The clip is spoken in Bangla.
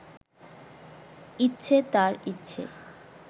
ইচ্ছে তাঁর ইচ্ছে